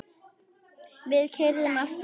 Við keyrðum aftur heim.